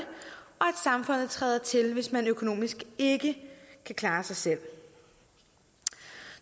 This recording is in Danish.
samfundet træder til hvis man økonomisk ikke kan klare sig selv